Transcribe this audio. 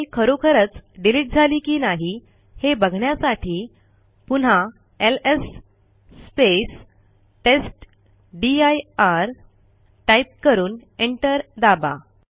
file खरोखरच delete झाली की नाही हे बघण्यासाठी पुन्हा एलएस टेस्टदीर टाईप करून एंटर दाबा